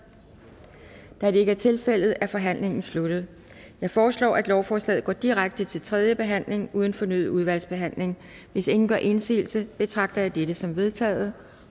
da det ikke er tilfældet er forhandlingen sluttet jeg foreslår at lovforslaget går direkte til tredje behandling uden fornyet udvalgsbehandling hvis ingen gør indsigelse betragter jeg dette som vedtaget